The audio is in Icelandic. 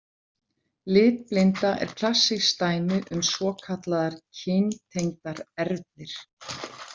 Litblinda er klassískt dæmi um svokallaðar kyntengdar erfðir.